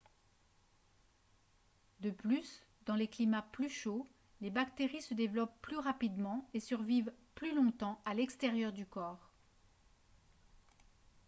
de plus dans les climats plus chauds les bactéries se développent plus rapidement et survivent plus longtemps à l'extérieur du corps